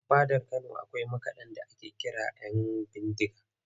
A fadar Kano akwai makaɗa da ake kira ‘Yanbindiga